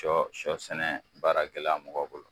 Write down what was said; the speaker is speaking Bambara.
Sɔ sɔ sɛnɛ baara gɛlɛya mɔgɔ bolo.